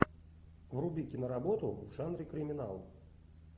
вруби киноработу в жанре криминал